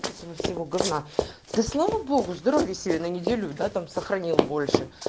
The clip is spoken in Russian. от этого всего говна да слава богу здоровье семьи на неделю да там сохранил больше